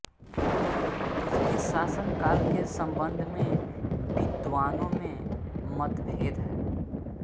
उसके शासनकाल के सम्बन्ध में विद्वानों में मतभेद है